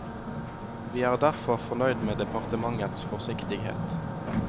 Vi er derfor fornøyd med departementets forsiktighet.